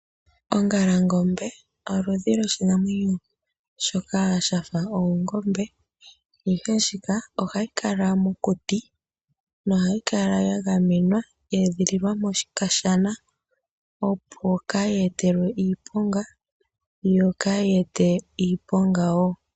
Ongalangombe oyo oludhi lwoshinamwenyo shoka shafa oongombe, ihe ndjika ohayi kala mokuti, nohayi kala ya gamenwa, ye edhililwa mokashana, opo kaayi etelwe iiponga, yo kaayi ete wo iiponga.